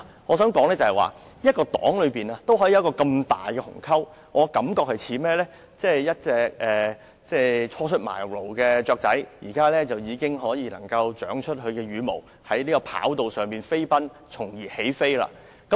我想說的是一個黨派也可以出現如此大的鴻溝，就像一隻初出茅廬的小鳥，現在已長出羽毛，在跑道上飛奔繼而起飛。